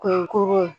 Kunkurun